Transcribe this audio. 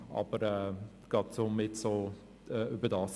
Aber gerade um jetzt so darüber zu sprechen: